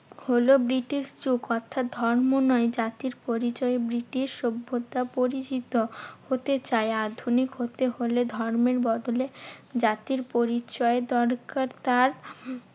হলো ব্রিটিশ যুগ। অর্থাৎ ধর্ম নয় জাতির পরিচয় ব্রিটিশ সভ্যতা পরিচিত হতে চায়। আধুনিক হতে হলে ধর্মের বদলে জাতির পরিচয় দরকার তার